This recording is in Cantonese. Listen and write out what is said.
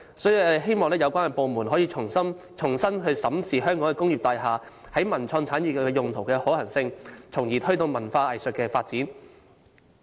所以，我希望有關部門能重新審視香港工業大廈在文化及創意產業用途的可行性，從而推動文化藝術發展。